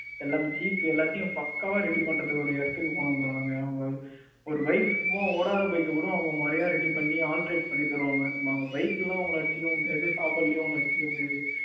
எல்லாமே Jeep எல்லாத்தையுமே பக்காவா Ready பண்ற ஒரு இடத்துக்கு போனோம் bro நாங்க அங்க ஒரு bike சும்மா ஓடாத bike கூட அவங்க ஒரு மாதிரியா ready பண்ணி alternate பண்ணி தருவாங்க. அந்த Bike லையும் அவங்கள அவங்கள அடிச்சிக்கவே முடியாது. அது மாதிரி சாப்பாட்டுலையும் அவங்கள அடிச்சுக்கவே முடியாது.